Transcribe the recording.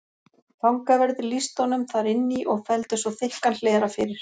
Fangaverðir lýstu honum þar inn í og felldu svo þykkan hlera fyrir.